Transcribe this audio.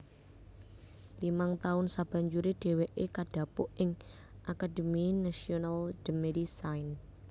Limang taun sabanjuré dhèwèké kadhapuk ing Académie Nationale de Médecine